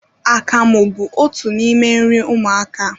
Akamụ bụ otu n'ime nri ụmụaka